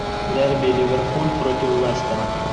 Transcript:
дерби ливерпуль против лестера